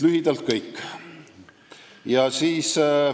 Lühidalt on see kõik.